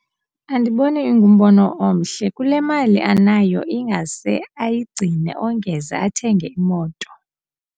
Andiboni ingumbono omhle, kule mali anayo ingase ayigcine ongeze athenge imoto.